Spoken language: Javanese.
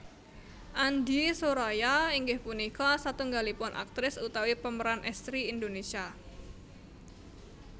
Andie Soraya inggih punika satunggalipun aktris utawi pemeran estri Indonesia